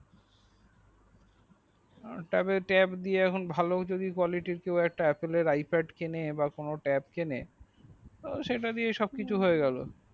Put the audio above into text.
তবে tab ভালো যদিও collety যদি কোনো apple এর তো দিয়ে সব কিছু হইয়া গেল